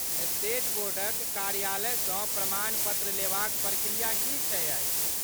State बोर्डक कार्यालय सँ प्रमाण पत्र लेबाक प्रक्रिया की छियै?